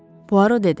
Puaro dedi.